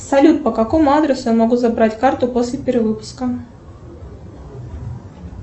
салют по какому адресу я могу забрать карту после перевыпуска